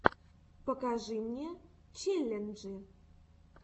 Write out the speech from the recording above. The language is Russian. покажи мне челленджи